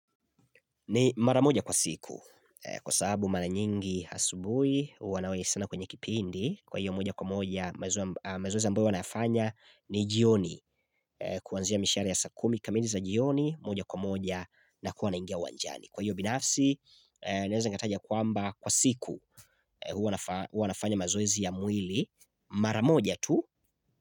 Ni maramoja kwa siku kwa sababu mana nyingi hasubui wanawe sana kwenye kipindi kwa hiyo moja kwa moja mazoezi ambayo wanafanya ni jioni kuwanzia mishare ya sakumi kamili za jioni moja kwa moja na kuwana ingia wanjani. Kwa hiyo binafsi niaweza ngataja kuamba kwa siku huwanafanya mazoezi ya mwili maramoja tu.